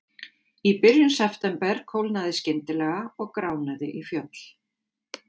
Í byrjun september kólnaði skyndilega og gránaði í fjöll.